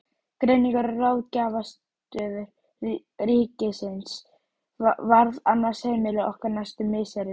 Greiningar- og ráðgjafarstöð ríkisins varð annað heimili okkar næstu misserin.